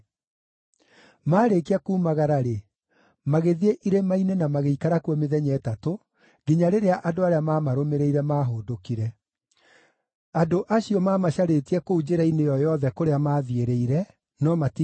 Maarĩkia kuumagara-rĩ, magĩthiĩ irĩma-inĩ na magĩikara kuo mĩthenya ĩtatũ, nginya rĩrĩa andũ arĩa maamarũmĩrĩire maahũndũkire. Andũ acio maamacarĩtie kũu njĩra-inĩ ĩyo yothe kũrĩa maathiĩrĩire, no matiigana kũmona.